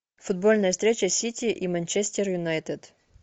футбольная встреча сити и манчестер юнайтед